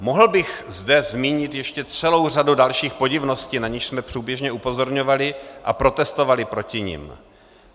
Mohl bych zde zmínit ještě celou řadu dalších podivností, na něž jsme průběžně upozorňovali a protestovali proti nim.